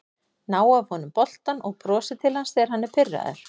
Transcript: Ná af honum boltann og brosa til hans þegar hann er pirraður